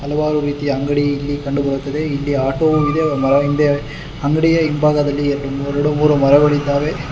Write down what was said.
ಹಲವಾರು ರೀತಿಯ ಅಂಗ್ಡಿ ಇಲ್ಲಿ ಕಂಡು ಬರುತ್ತದೆ ಇಲ್ಲಿ ಆಟೋವು ಮರ ಹಿಂದೆ ಇದೆ ಅಂಗ್ಡಿಯ ಹಿಂಭಾಗದಲ್ಲಿ ಎರಡ್ ಎರಡು ಮೂರು ಮರಗಳಿವೆ.